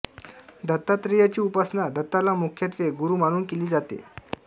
दत्तात्रेयाची उपासना दत्ताला मुख्यत्वे गुरू मानून केली जाते